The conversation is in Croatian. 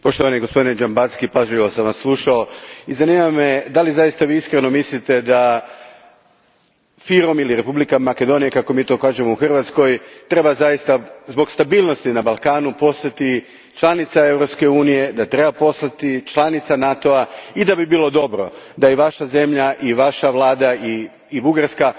Gospodine Dzhambazki, pažljivo sam vas slušao i zanima me da li zaista vi iskreno mislite da FYROM ili Republika Makedonija kako mi to kažemo u Hrvatskoj treba zbog stabilnosti na Balkanu postati članica Europske unije, NATO a i da bi bilo dobro da i vaša zemlja, vaša vlada i Bugarska,